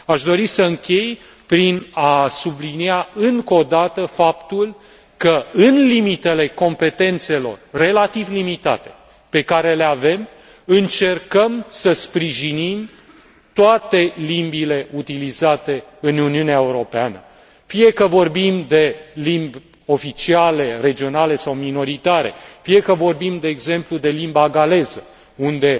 Aș dori să închei prin a sublinia încă o dată faptul că, în limitele competențelor relativ limitate pe care le avem, încercăm să sprijinim toate limbile utilizate în Uniunea Europeană, fie că vorbim de limbi oficiale, regionale sau minoritare, fie că vorbim, de exemplu, de limba galeză, unde